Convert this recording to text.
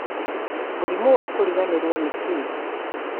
mũrimũ wa kũriganĩrwo nĩ kĩĩ?